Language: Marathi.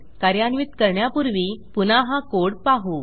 कार्यान्वित करण्यापूर्वी पुन्हा हा कोड पाहू